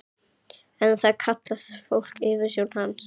En það kallaði fólk yfirsjón hans.